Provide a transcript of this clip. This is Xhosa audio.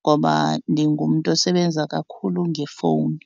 ngoba ndingumntu osebenza kakhulu ngefowuni.